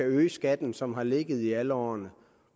øge skatten som har ligget i alle årene